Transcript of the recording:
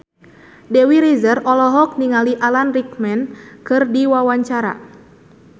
Dewi Rezer olohok ningali Alan Rickman keur diwawancara